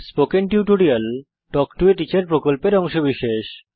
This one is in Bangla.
spoken tutorial talk to a teacher প্রকল্পের অংশবিশেষ